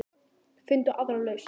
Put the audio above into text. Finndu aðra lausn.